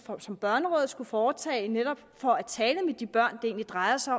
som børnerådet skulle foretage netop for at tale med de børn det drejer sig